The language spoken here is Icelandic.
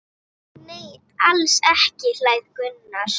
Nei, alls ekki hlær Gunnar.